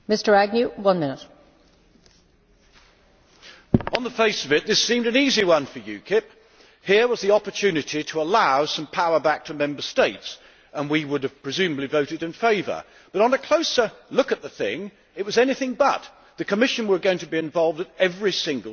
Madam President, on the face of it this seemed an easy one for UKIP. Here was the opportunity to allow some power back to Member States, and we would have presumably voted in favour. But on a closer look at the thing, it was anything but. The Commission was going to be involved at every single stage,